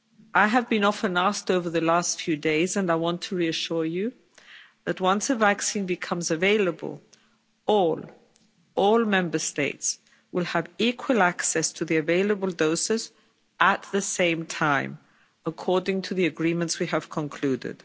I have often been asked over the last few days, and I want to reassure you, that once a vaccine becomes available, all Member States will have equal access to the available doses at the same time, according to the agreements we have concluded.